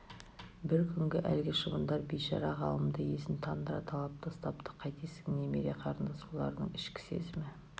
бір күні әлгі шыбындар бейшара ғалымды есін тандыра талап тастапты қайтесің немере қарындас олардың ішкі сезімі